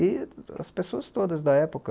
E as pessoas todas da época,